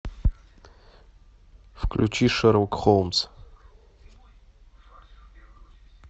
включи шерлок холмс